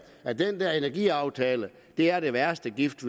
at den der energiaftale er den værste gift